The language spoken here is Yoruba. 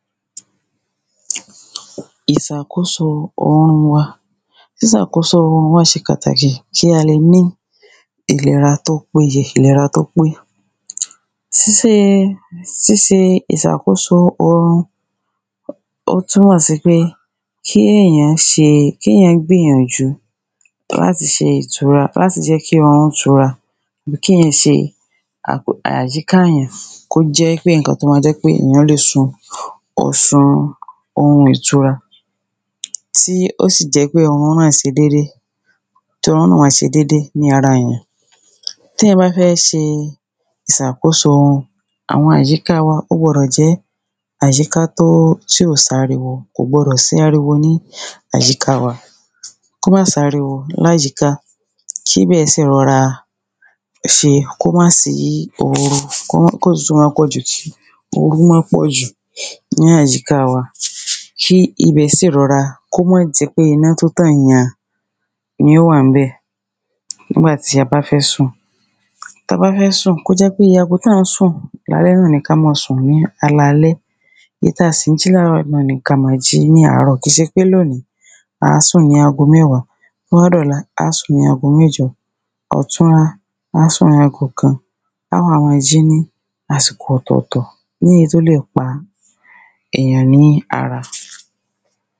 Ìsàkóso orun wa sísàkóso orun wa ṣe pàtàkì kí a le ní ìlera tó pé ye ìlera tó pé síse ìsàkóso orun ó túmọ̀ sí pé kéyàn gbìyànjú láti jẹ́ kí orun tu ra àbí kéyàn se àjíkáyàn kó jẹ́ í pé ǹkan tó ma jẹ́ pé ìyan le sùn o sun orun ìtura tí ó sì jẹ́ pé orun náà se dédé tórun náà wá ṣe dédé ní ara ìyàn téyàn bá fẹ́ ṣe ìsàkóso àwọn àyíká wa ó gbọdọ̀ jẹ́ àyíká tí ò sáriwo kò gbọdọ̀ sí ariwo ní àyíká wa kó ma sáriwo láyíka kíbẹ̀ sì rọra kó má sí oru kó tútù má pọ̀jù kó oru má pọ̀jù ni àyíká wa kí ibẹ̀ sì rọra kó mọ́ jẹ́ pé iná tó tàn yàn ni ó wà ń bẹ̀ nígbà ti a bá fẹ́ sùn kó jẹ́ pé iye ago tá ń sùn lálẹ́ náà ni ká ma sùn ní alẹ́ èyí ta sì ń jí láàrọ̀ ní ka ma ji ní àárọ̀ ki ṣe pé loní àá sùn ni ago mẹ́wá tó bá dọ̀la á sùn ní ago mẹ́jọ ọ̀túnla á sùn ní ago kan á wá mọ jí ní àsìkò ọ̀tọ̀tọ̀ ní èyí tó lè pa èyàn ní ara